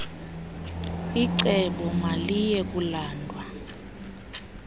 icebo maliye kulandwa